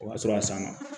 O b'a sɔrɔ a sanna